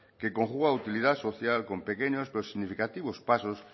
que conjuga utilidad social con pequeños pero significativos pasos